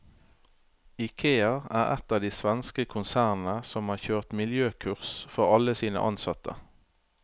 Ikea er ett av de svenske konsernene som har kjørt miljøkurs for alle sine ansatte.